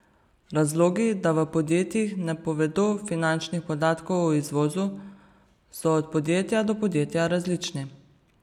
Razlogi, da v podjetjih ne povedo finančnih podatkov o izvozu, so od podjetja do podjetja različni.